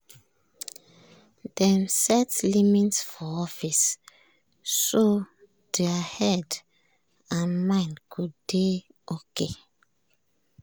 dem set limit for office so their head and mind go dey okay.